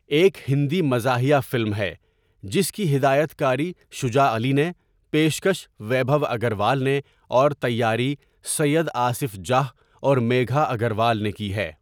ایک ہندی مزاحیہ فلم ہے جس کی ہدایت کاری شجاع علی نے، پیشکش ویبھو اگروال نے اور تیاری سید آصف جاہ اور میگھا اگروال نے کی ہے۔